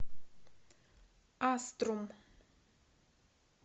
аструм